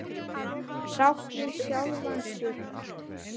Sátt við sjálfa sig.